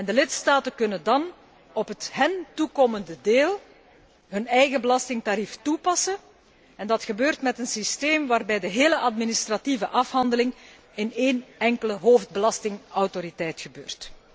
De lidstaten kunnen dan op het hun toekomende deel hun eigen belastingtarief toepassen en dat gebeurt middels een systeem, waarbij de gehele administratieve afhandeling bij één enkele hoofdbelastingautoriteit gebeurt.